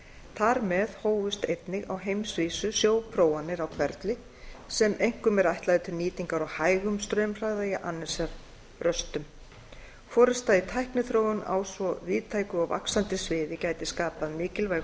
þar með hófust einnig á heimsvísu sjóprófanir á hverfli sem einkum er ætlaður til nýtingar á hægum straumhraða í annesjaröstum forusta í tækniþróun á svo víðtæku og vaxandi sviði gæti skapað mikilvæg